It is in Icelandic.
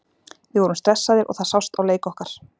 Við vorum stressaðir og það sást á leik okkar.